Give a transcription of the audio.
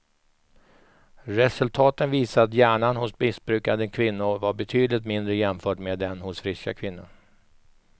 Resultaten visar att hjärnan hos missbrukande kvinnor var betydligt mindre jämfört med den hos friska kvinnor.